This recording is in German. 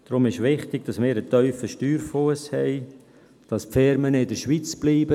Deshalb ist es wichtig, dass wir einen tiefen Steuerfuss haben, dass die Firmen in der Schweiz bleiben.